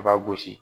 A b'a gosi